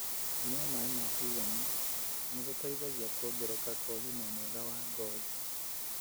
Kũnyua maĩ ma kũigana nĩ gũteithagia kuongerereka kwa ũgima mwega wa ngothi.